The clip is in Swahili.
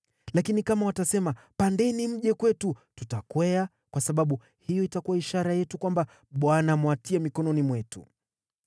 Lakini kama watasema, ‘Pandeni mje kwetu,’ tutakwea, kwa sababu hiyo itakuwa ishara yetu kwamba Bwana amewatia mikononi mwetu.”